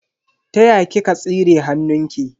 Ta ya kika tsire hannunki?